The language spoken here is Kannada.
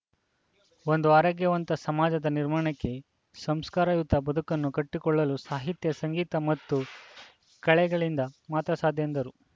ಒಂದು ಆರೋಗ್ಯವಂತ ಸಮಾಜದ ನಿರ್ಮಾಣಕ್ಕೆ ಸಂಸ್ಕಾರಯುತ ಬದುಕನ್ನು ಕಟ್ಟಿಕೊಳ್ಳಲು ಸಾಹಿತ್ಯ ಸಂಗೀತ ಮತ್ತು ಕಲೆಗಳಿಂದ ಮಾತ್ರ ಸಾಧ್ಯ ಎಂದರು